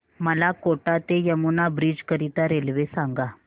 मला कोटा ते यमुना ब्रिज करीता रेल्वे सांगा